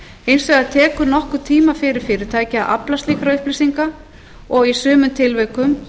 hins vegar tekur nokkurn tíma fyrir fyrirtækið að afla slíkra upplýsinga og í sumum tilvikum